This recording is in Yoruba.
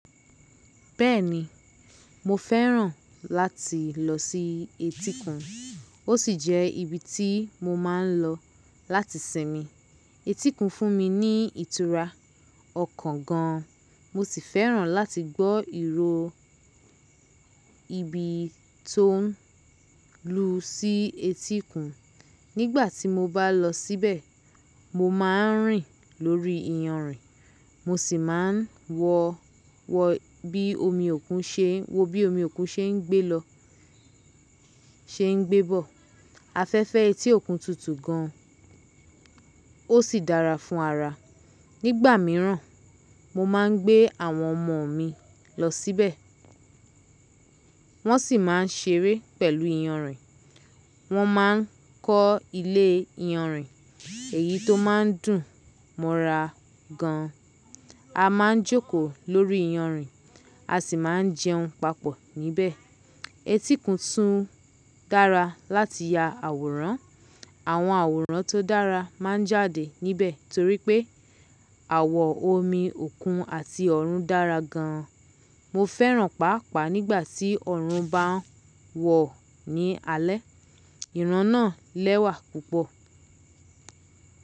Bẹ́ẹ̀ni, mo fẹ́ràn láti lọ sí etíkun, ó sì jẹ́ ibi tí mo máa ń lọ láti sinmi. Etíkun fún mi ní ìtura ọkàn gan, mo sì fẹ́ràn láti gbọ́ ìró ibi tó ń lu sí etíkun. Nígbà tí mo bá lọ síbẹ̀, mo máa ń rìn lórí iyanrìn, mo sì máa ń wọ bí omi òkun se ṣe ń gbé bọ̀. Afẹ́fẹ́ etí òkun tutù gan, ó sì dára fún ara. Nígbà míràn, mo máa ń gbé àwọn ọmọ mi lọ síbẹ̀, wọ́n sì máa ń ṣeré pẹ̀lú iyanrìn, wọ́n máa ń kọ́ ilé iyanrìn èyí tó máa ń dùn mọ́ra gan. A máa ń jókòó lórí iyanrìn, a sì máa ń jẹun papọ̀ níbẹ̀. Etíkun tún dára láti ya àwòrán. Àwọn àwòrán tó dára máa ń jáde níbẹ̀ torí pé àwọ̀ omi òkun àti ọ̀run dára gan. Mo fẹ́ràn paapaa nígbà tí ọ̀run bá ń wọ̀ ní alẹ́, ìran náà lẹ́wà púpọ̀.